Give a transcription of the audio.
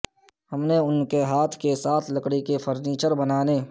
ہم نے ان کے ہاتھ کے ساتھ لکڑی کے فرنیچر بنانے